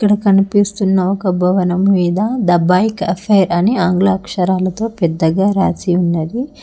ఇక్కడ కనిపిస్తున్న ఒక్క భవనం మీద ద బైక్ అఫైర్ అని ఆంగ్ల అక్షరాలతో పెద్దగా రాసి ఉన్నది.